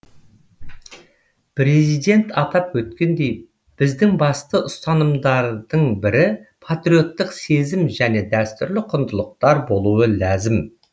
президент атап өткендей біздің басты ұстанымдардың бірі патриоттық сезім және дәстүрлі құндылықтар болуы ләзім